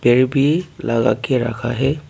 भी लगा के रखा है।